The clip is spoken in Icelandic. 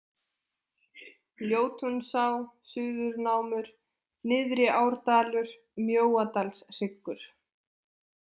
Ljótunsá, Suðurnámur, Nyrðriárdalur, Mjóadalshryggur